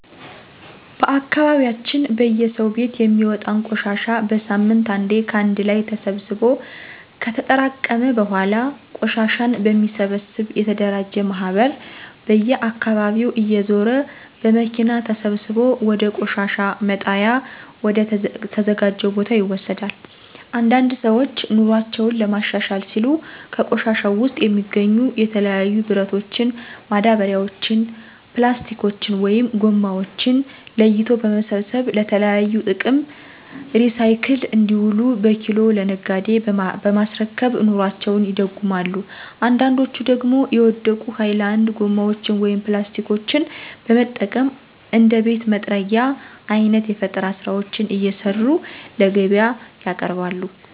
በአካባቢያችን በየሰው ቤት የሚወጣን ቆሻሻ በሳምንት አንዴ ከአንድ ላይ ተሰብስቦ ከተጠራቀመ በኃላ ቆሻሻን በሚሰበሰብ የተደራጀ ማህበር በየአካባቢው እየዞረ በመኪና ተሰብስቦ ወደ ቆሻሻ መጣያ ወደ ተዘጀው ቦታ ይወሰዳል። አንዳንድ ሰዎች ኑሮአቸውን ለማሻሻል ሲሉ ከቆሻሻው ውስጥ የሚገኙ የተለያዩ ብረቶችን፣ ማዳበሪያዎችን፣ ፕላስቲኮችን(ጎማዎችን) ለይቶ በመሰብሰብ ለተለያዩ ጥቅም ሪሳይክል እንዲውሉ በኪሎ ለነጋዴ በማስረከብ ኑሮአቸውን ይደጉማሉ አንዳንዶች ደግሞ የወደቁ ሀይላንድ ጎማዎችን (ፕላስቲኮችን) በመጠቀም እንደ ቤት መጥረጊያ አይነት የፈጠራ ስራዎችን እየሰሩ ለገቢያ ያቀርባሉ።